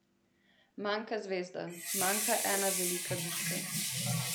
Manjka zvezda, manjka ena velika bitka.